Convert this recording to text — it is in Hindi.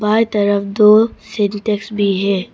बाईं तरफ दो सिंटेक्स भी है।